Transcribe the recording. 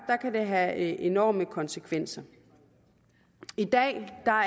kan det have enorme konsekvenser i dag